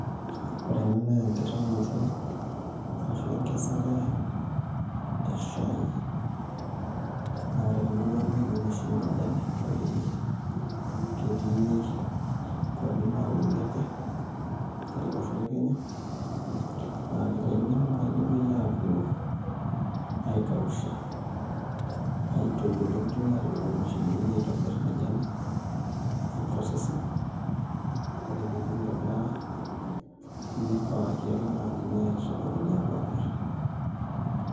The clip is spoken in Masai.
Oore eene naa enkitaunoto arashu enkesare, ee shaai, naa oore temurua ang nemekiun oshi iyiok majani kake ketii ikwapi nauni aake, tele osho le Kenya, naa keitauni ake naaji nepuoi aapuo aikausha, aitoyio netumi atipik nena mashinini naitobir majani, neiprocessi, oore pee eidipi aitobira, neipaaki ake naaji neyae isokonini apuo amir.